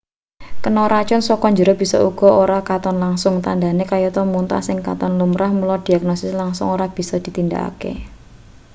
kena racun saka njero bisa uga ora katon langsung tandhane kayata mutah sing katon lumrah mula diagnosis langsung ora bisa ditindakake